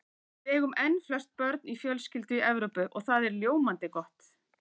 En við eigum enn flest börn á fjölskyldu í Evrópu og það er ljómandi gott.